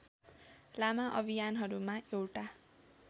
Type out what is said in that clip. लामा अभियानहरूमा एउटा